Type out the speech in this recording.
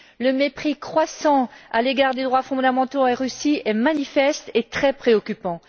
Le mépris croissant à l'égard des droits fondamentaux en Russie est manifeste et très préoccupant.